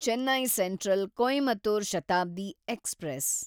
Chennai central Coimbatore Shatabdi express